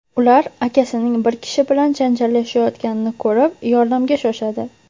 Ular akasining bir kishi bilan janjallashayotganini ko‘rib, yordamga shoshadi.